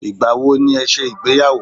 Ìgbà wo ni ẹ ṣe ìgbéyàwó?